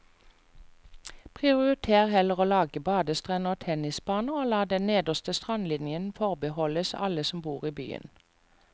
Prioriter heller å lage badestrender og tennisbaner, og la den nederste strandlinjen forbeholdes alle som bor i byen.